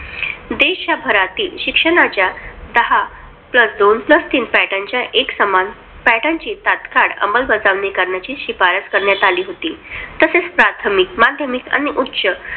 देशभरातील शिक्षणाच्या दहा plus दोन plus तीन pattern च्या एकसमान pattern ची तात्काळ अमंलबजावणी करण्याची शिफारस करण्यात आली होती. तसेच प्राथमिक, माध्यमिक आणि उच्च